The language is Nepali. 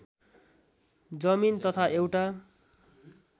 जमिन तथा एउटा